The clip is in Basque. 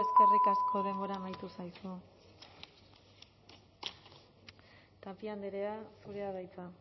eskerrik asko denbora amaitu zaizu tapia andrea zurea da hitza